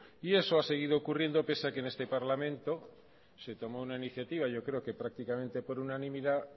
y eso ha seguido ocurriendo pese a que en este parlamento se tomó una iniciativa yo creo que prácticamente por unanimidad